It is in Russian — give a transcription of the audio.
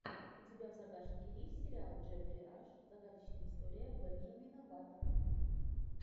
у тебя в загашнике есть сериал джеффри раш загадочная история бенджамина баттона